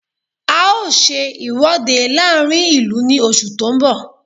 A ó ṣe ìwọ́de láàrín ìlú ní oṣù tó ń bọ̀